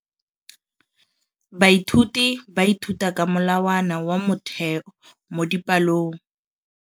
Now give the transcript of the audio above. Baithuti ba ithuta ka molawana wa motheo mo dipalong.